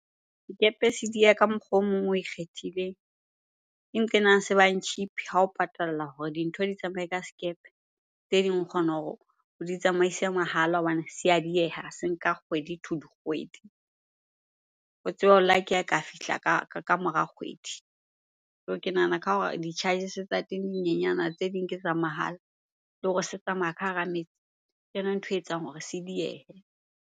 Sekepe se diya ka mokgwa o mong o ikgethileng ke nqena se bang cheap ha o patalla hore dintho di tsamaye ka sekepe. Tse ding o kgona hore o di tsamaise mahala hobane se a dieha, se nka kgwedi to dikgwedi. O tsebe o lucky ha e ka fihla ka mora kgwedi. Ke nahana ka hore di-charges-e tsa teng di nyenyana tse ding ke tsa mahala le hore se tsamaya ka hara metsi. Ke yona ntho etsang hore se diehe.